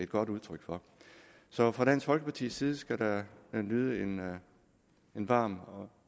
godt udtryk for så fra dansk folkeparti side skal der lyde en varm